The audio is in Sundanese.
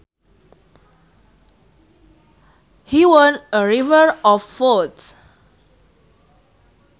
He won a river of votes